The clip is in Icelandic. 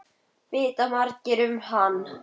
Vita margir um hann?